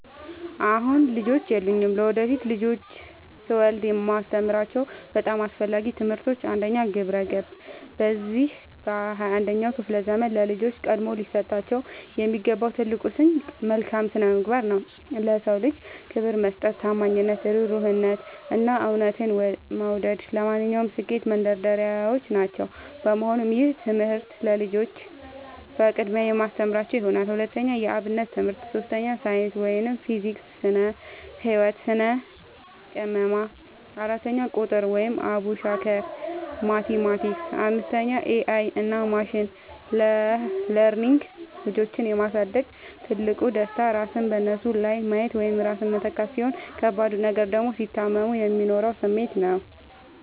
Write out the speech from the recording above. አሁን ልጆች የሉኝም። ለወደፊት ልጆችን ስወልድ የማስተምራቸው በጣም አስፈላጊ ትምህርቶች፦ 1. ግብረ-ገብ፦ በዚህ በ 21ኛው ክፍለ ዘመን ለልጆች ቀድሞ ሊሰጣቸው የሚገባው ትልቁ ስንቅ መልካም ስነምግባር ነው። ለ ሰው ልጅ ክብር መስጠት፣ ታማኝነት፣ እሩህሩህነት፣ እና እውነትን መውደድ ለማንኛውም ስኬት መንደርደሪያዎች ናቸው። በመሆኑም ይህንን ትምህርት ለልጆቼ በቅድሚያ የማስተምራቸው ይሆናል። 2. የ አብነት ትምህርት 3. ሳይንስ (ፊዚክስ፣ ስነ - ህወት፣ ስነ - ቅመማ) 4. ቁጥር ( አቡሻኽር፣ ማቲማቲክስ ...) 5. ኤ አይ እና ማሽን ለርኒንግ ልጆችን የ ማሳደግ ትልቁ ደስታ ራስን በነሱ ላይ ማየት ወይም ራስን መተካት፣ ሲሆን ከባዱ ነገር ደግሞ ሲታመሙ የሚኖረው ስሜት ነው።